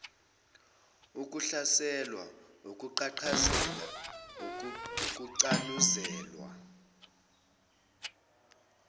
ukuhlaselwa ukuqhaqhazela ukucanuzelelwa